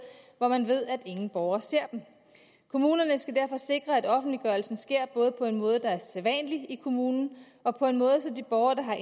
hvor man ved at ingen borger ser det kommunerne skal derfor sikre at offentliggørelsen sker på en måde der er sædvanlig i kommunen og på en måde så de borgere der har